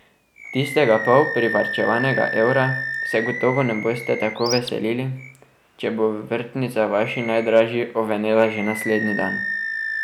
Tistega pol privarčevanega evra se gotovo ne boste tako veselili, če bo vrtnica vaši najdražji ovenela že naslednji dan.